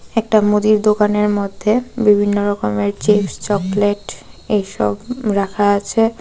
একটা মুদির দোকানের মধ্যে বিভিন্ন রকমের চিপস চকলেট এইসব রাখা আছে.